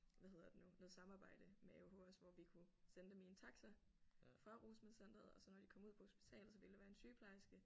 Hvad hedder det nu noget samarbejde med AOH også hvor vi kunne sende dem i en taxa fra rusmiddelcenteret og så når de kom ud på hospitalet så ville der være en sygeplejerske